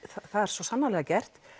það er svo sannarlega gert